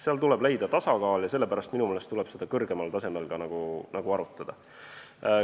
Seal tuleb leida tasakaal ja sellepärast tuleb seda minu meelest ka kõrgemal tasemel arutada.